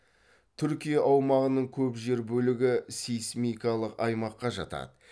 түркия аумағының көп жер бөлігі сейсмикалық аймаққа жатады